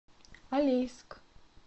алейск